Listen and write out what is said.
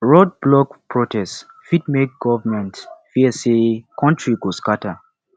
road block protest fit make government fear say country go scatter